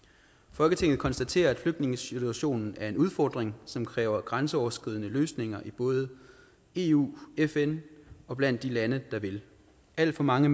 folketinget konstaterer at flygtningesituationen er en udfordring som kræver grænseoverskridende løsninger i både eu fn og blandt de lander der vil alt for mange